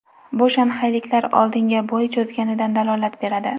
Bu shanxayliklar oldinga bo‘y cho‘zganidan dalolat beradi.